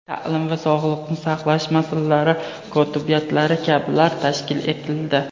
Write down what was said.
ta’lim va sog‘liqni saqlash masalalari kotibiyatlari kabilar tashkil etildi.